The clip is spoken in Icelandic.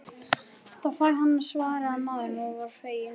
Þá fæ ég hana, svaraði maðurinn og var feginn.